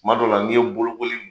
Kuma dɔw la n'i ye bolokoli